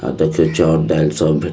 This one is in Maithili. आ देखियो चोअर दाल सब --